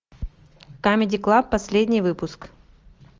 камеди клаб последний выпуск